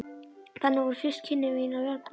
Þannig voru fyrstu kynni mín af verbúðalífinu.